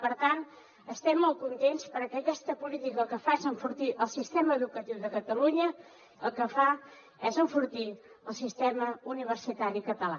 per tant estem molt contents perquè aquesta política el que fa és enfortir el sistema educatiu de catalunya el que fa és enfortir el sistema universitari català